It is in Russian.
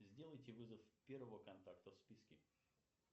сделайте вызов первого контакта в списке